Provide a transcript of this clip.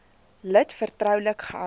lid vertroulik gehou